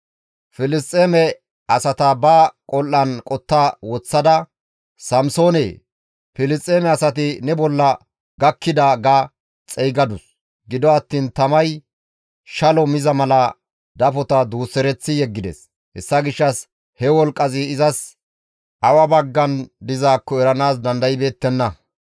Filisxeeme asata ba qol7an qotta woththada, «Samsoone! Filisxeeme asati ne bolla gakkida» ga xeygadus; gido attiin tamay shalo miza mala dafota duusereththi yeggides; hessa gishshas he wolqqazi izas awa baggan dizaakko eranaas dandaybeettenna.